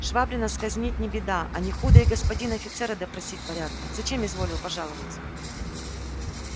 швабрина сказнить не беда а не худо и господина офицера допросить порядком зачем изволил пожаловать